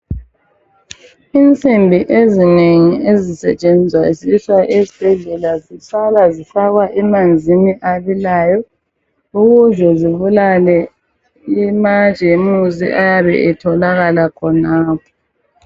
Insimbi ezinengi ezisetshenziswa ezibhedlela ziqala zifakwa wmanzini abilayo ukuze kubulawe amajemusi ayabe etholakala khonapho.